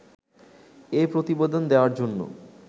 এ প্রতিবেদন দেয়ার জন্য